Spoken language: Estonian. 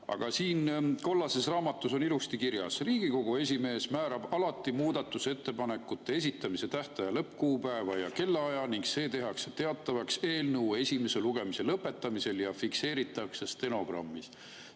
Aga siin kollases raamatus on ilusti kirjas: Riigikogu esimees määrab alati muudatusettepanekute esitamise tähtaja lõppkuupäeva ja kellaaja ning see tehakse teatavaks eelnõu esimese lugemise lõpetamisel ja fikseeritakse stenogrammis.